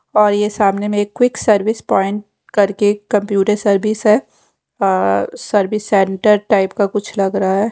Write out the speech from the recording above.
और ये सामने में एक क्विक सर्विस प्वाइंट करके कंप्यूटर सर्विस है और सर्विस सेंटर टाइप का कुछ लग रहा है।